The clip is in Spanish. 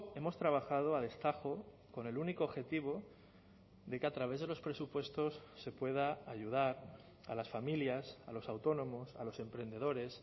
hemos trabajado a destajo con el único objetivo de que a través de los presupuestos se pueda ayudar a las familias a los autónomos a los emprendedores